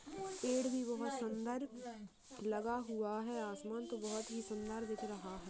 पेड़ भी बहुत सुंदर लगा हुआ है आसमान तो बहुत ही सुंदर दिख रहा है।